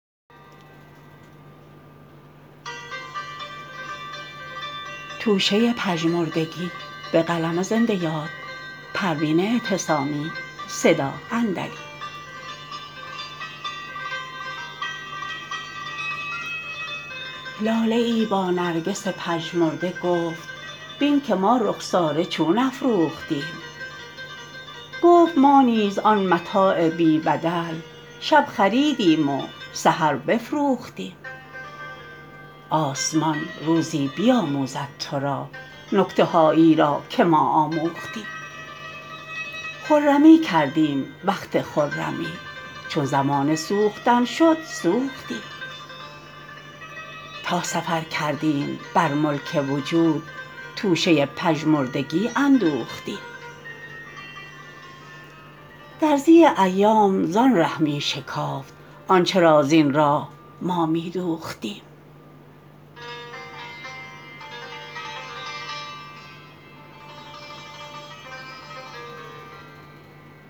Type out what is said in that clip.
لاله ای با نرگس پژمرده گفت بین که ما رخساره چون افروختیم گفت ما نیز آن متاع بی بدل شب خریدیم و سحر بفروختیم آسمان روزی بیاموزد ترا نکته هایی را که ما آموختیم خرمی کردیم وقت خرمی چون زمان سوختن شد سوختیم تا سفر کردیم بر ملک وجود توشه پژمردگی اندوختیم درزی ایام زان ره میشکافت آنچه را زین راه ما میدوختیم